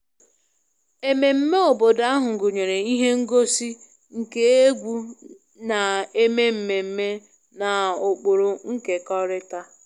Ememme obodo ahụ gụnyere ihe ngosi nke egwu na-eme mmemme na ụkpụrụ nkekọrịta